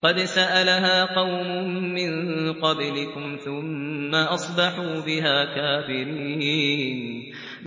قَدْ سَأَلَهَا قَوْمٌ مِّن قَبْلِكُمْ ثُمَّ أَصْبَحُوا بِهَا كَافِرِينَ